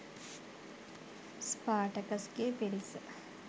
ස්පාටකස්ගේ පිරිස